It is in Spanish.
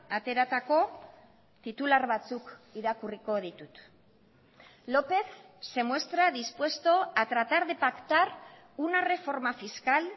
ateratako titular batzuk irakurriko ditut lópez se muestra dispuesto a tratar de pactar una reforma fiscal